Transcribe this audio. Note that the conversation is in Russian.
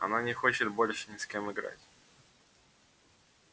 она не хочет больше ни с кем играть